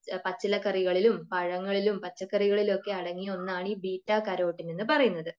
പച്ചിലക്കറികളിലും പഴങ്ങളിലും പച്ചക്കറികളിലും ഒക്കെ അടങ്ങിയ ഒന്നാണ് ഈ ബീറ്റാകരോട്ടിൻ എന്ന് പറയുന്നത്.